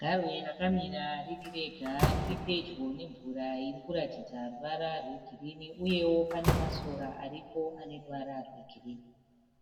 Garwe rakamira ririrega riripedyo nemvura irikuratidza ruvara rwegirinhi, uyewo pane masora aripo aneruvara rwegirinhi.